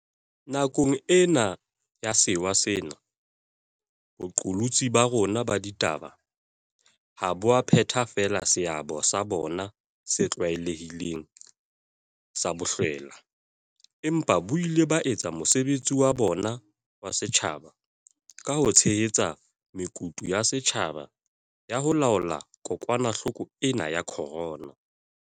Nakong ena ya sewa sena, boqolotsi ba rona ba ditaba ha bo a phetha feela seabo sa bona se tlwaelehileng sa bohlwela, empa bo ile ba etsa mosebetsi wa bona wa setjhaba ka ho tshehetsa mekutu ya setjhaba ya ho laola kokwanahloko ena ya corona.